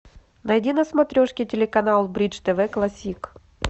найди на смотрешке телеканал бридж тв классик